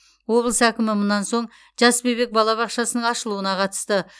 облыс әкімі мұнан соң жас бөбек балабақшасының ашылуына қатысты